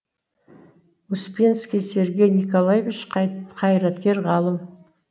успенский сергей николаевич қайраткер ғалым